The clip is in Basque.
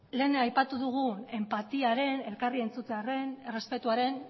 lehen aipatu dugu enpatiaren elkarri entzutearen errespetuaren